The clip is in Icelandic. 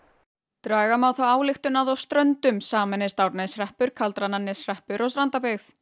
draga má þá ályktun að á Ströndum sameinist Árneshreppur Kaldrananeshreppur og Strandabyggð